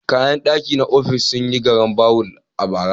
Kayan ɗaki na ofis sun yi garambawul a bara.